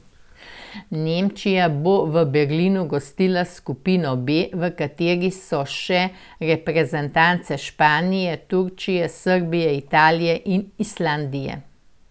Nemčija bo v Berlinu gostila skupino B, v kateri so še reprezentance Španije, Turčije, Srbije, Italije in Islandije.